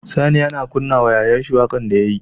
Sani yAna kunna wa yayan shi waƙar da yayi